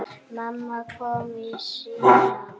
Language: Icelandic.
Mamma kom í símann.